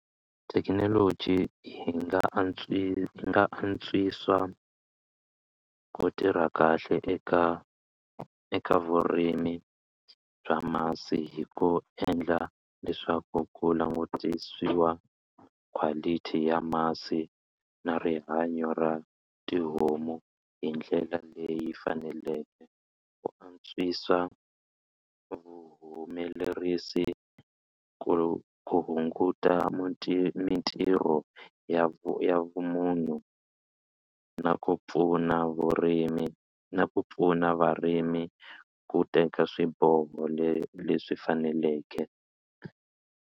Thekinoloji yi nga yi nga antswisa ku tirha kahle eka eka vurimi bya masi hi ku endla leswaku ku langutisiwa quality ya masi na rihanyo ra tihomu hi ndlela leyi faneleke ku antswisa vuhumelerisi ku ku hunguta mitirho ya vu ya vumunhu na ku pfuna vurimi na ku pfuna varimi ku teka swiboho le leswi faneleke.